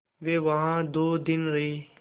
वे वहाँ दो दिन रहे